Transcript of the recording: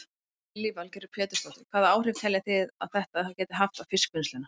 Lillý Valgerður Pétursdóttir: Hvaða áhrif telji þið að þetta geti haft á fiskvinnsluna?